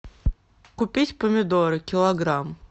купить помидоры килограмм